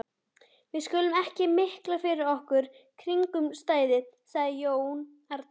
Við skulum ekki mikla fyrir okkur kringumstæður, sagði Jón Arason.